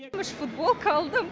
үш футболка алдым